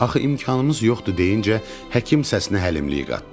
Axı imkanımız yoxdur deyincə, həkim səsinə həlimlik qatdı.